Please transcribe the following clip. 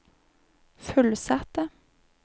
fullsatte